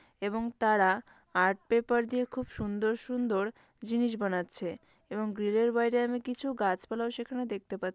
এবং তারা art paper দিয়ে খুব সুন্দর সুন্দর জিনিস বানাচ্ছে এবং গ্রিল বাইরে আমি কিছু গাছপালা সেখানে দেখতে পাচ--